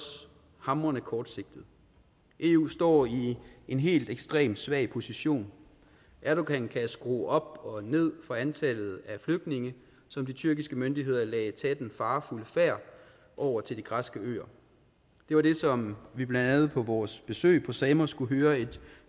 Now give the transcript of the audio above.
hamrende kortsigtet eu står i en helt ekstremt svag position erdogan kan skrue op og ned for antallet af flygtninge som de tyrkiske myndigheder lader tage den farefulde færd over til de græske øer det var det som vi blandt andet på vores besøg på samos kunne høre et